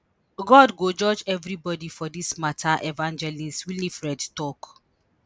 god go judge everibodi for dis mata evangelist winifred tok